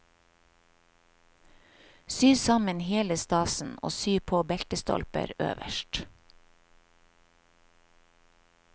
Sy sammen hele stasen og sy på beltestolper øverst.